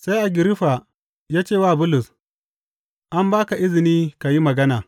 Sai Agiriffa ya ce wa Bulus, An ba ka izini ka yi magana.